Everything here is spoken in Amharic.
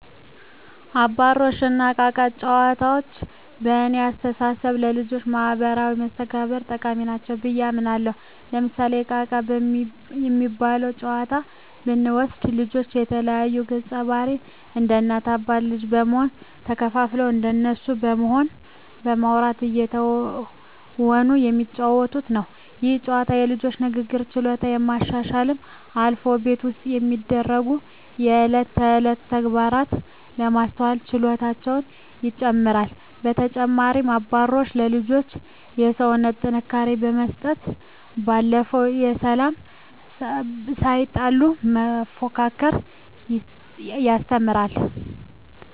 አባሮሽ እና እቃ እቃ ጨዋታዎች በእኔ አስተሳሰብ ለልጆች ማህበራዊ መስተጋብር ጠቃሚ ናቸው ብየ አምናለሁ። ለምሳሌ እቃ እቃ የሚባለውን ጨዋታ ብንወስድ ልጆች የተለያዩ ገፀባህርይ እንደ እናት አባት ልጅ በመሆን ተከፋፍለው እንደነሱ በመሆን በማዉራት እየተወኑ የሚጫወቱት ነው። ይህ ጨዋታ የልጆቹን የንግግር ችሎታ ከማሻሻልም አልፎ ቤት ውስጥ የሚደሰጉ የእለት ተእለት ተግባራትን የማስተዋል ችሎታቸውን ይጨመራል። በተጨማሪም አባሮሽ ለልጆች የሰውነት ጥንካሬ ከመስጠት ባለፈ በሰላም ሳይጣሉ መፎካከርን ያስተምራል።